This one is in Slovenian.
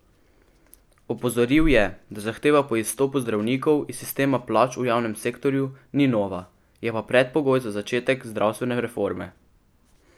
Opozoril je, da zahteva po izstopu zdravnikov iz sistema plač v javnem sektorju ni nova, je pa predpogoj za začetek zdravstvene reforme.